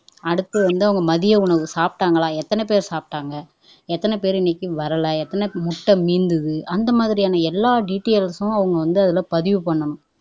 அடுத்து வந்து அவங்க மதிய உணவு சாப்பிட்டாங்களா எத்தனைபேர் சாப்பிட்டாங்க எத்தனைபேர் இன்னைக்கு வரல எத்தனை முட்டை மீந்தது அந்த மாதிரியான எல்லா டீடெய்ல்ஸும் அவங்க வந்து அதுல பதிவு பண்ணனும்